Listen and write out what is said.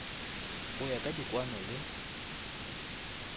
go ya ka dikwano le